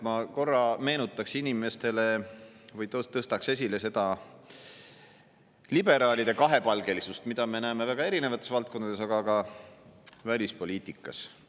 Ma korra meenutan inimestele või tõstan esile seda liberaalide kahepalgelisust, mida me näeme väga erinevates valdkondades, aga ka välispoliitikas.